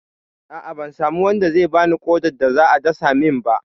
A'a, ban samu wanda zai bani ƙodar da za a dasa min ba.